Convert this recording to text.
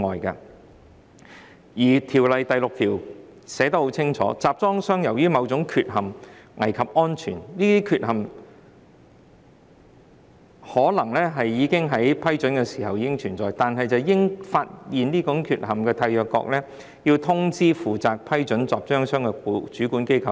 《公約》第六條寫得很清楚，當集裝箱由於某種缺陷似乎危及安全，而這項缺陷在該集裝箱獲得批准時可能已存在，應由發現這種缺陷的締約國通知負責批准該集裝箱的主管機關。